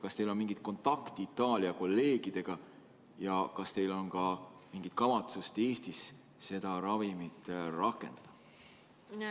Kas teil on mingit kontakti Itaalia kolleegidega ja kas teil on ka mingit kavatsust Eestis seda ravimit kasutada?